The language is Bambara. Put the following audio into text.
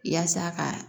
Yaasa ka